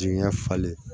Jigiɲɛ falen